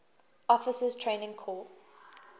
officers training corps